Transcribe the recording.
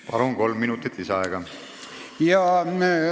Palun, kolm minutit lisaaega!